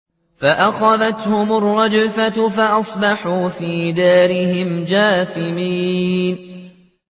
فَأَخَذَتْهُمُ الرَّجْفَةُ فَأَصْبَحُوا فِي دَارِهِمْ جَاثِمِينَ